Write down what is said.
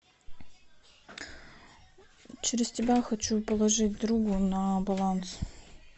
через тебя хочу положить другу на баланс